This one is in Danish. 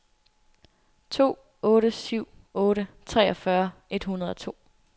to otte syv otte treogfyrre et hundrede og to